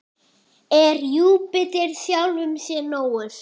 Er Júpíter sjálfum sér nógur?